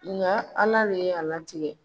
Nka ala de ye a la tigɛ